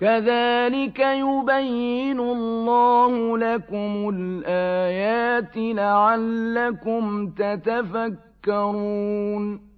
كَذَٰلِكَ يُبَيِّنُ اللَّهُ لَكُمُ الْآيَاتِ لَعَلَّكُمْ تَتَفَكَّرُونَ